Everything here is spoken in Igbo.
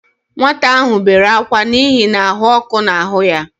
Nwata ahụ bere ákwá n'ihi na ahụ ọkụ na-ahụ ya